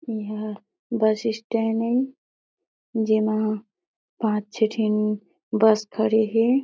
यहाँ bus stand हे जेमा पाँच छे ठीन बस खड़े हे |